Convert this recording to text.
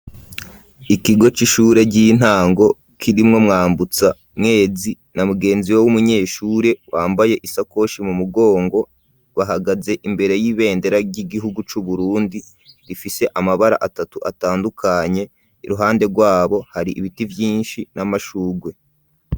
ikigo c'ishure ry'intango kirimwo Mwambutsa Mwezi na mugenzi wo w'umunyeshure wambaye isakoshi mu mugongo bahagaze imbere y'ibendera ry'igihugu cu Burundi rifise amabara atatu atandukanye iruhande rwabo hari ibiti vyishi n'amashurwe.